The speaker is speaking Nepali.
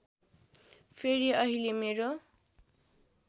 फेरि अहिले मेरो